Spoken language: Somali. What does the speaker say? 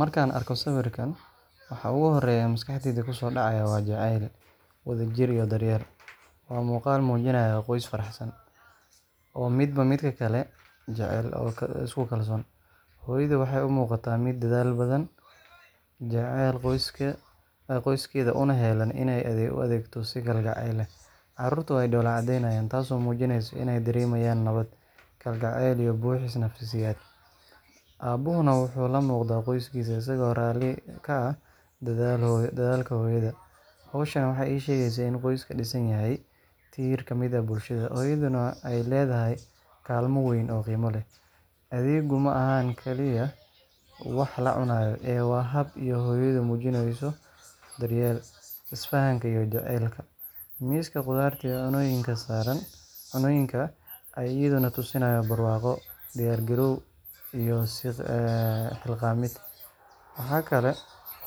Markaan arko sawirkan, waxa ugu horreeya ee maskaxdayda ku soo dhacaya waa jacayl, wadajir iyo daryeel. Waa muuqaal muujinaya qoys faraxsan, oo midba midka kale jecel oo isku kalsoon. Hooyadu waxay u muuqataa mid dadaal badan, jecel qoyskeeda una heellan inay u adeegto si kalgacal leh. Carruurtu way dhoolla caddeynayaan, taasoo muujinaysa inay dareemayaan nabad, kalgacal iyo buuxis nafsiyeed. Aabbuhuna wuxuu la muuqdaa qoyskiisa isagoo raalli ka ah dadaalka hooyada. Hawshan waxay ii sheegaysaa in qoyska dhisan yahay tiir ka mid ah bulshada, hooyaduna ay leedahay kaalmo weyn oo qiimo leh. Adeeggu ma aha keliya wax la cunayo, ee waa hab ay hooyadu muujinayso daryeelka, isfahanka iyo jacaylka. Miiska khudaarta iyo cuntooyinka ayaa iyaduna tusinaya barwaaqo, diyaargarow iyo is xilqaamid. Waxaa kale